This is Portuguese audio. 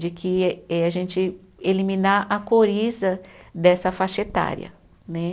De que eh, a gente eliminar a coriza dessa faixa etária, né?